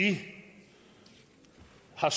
har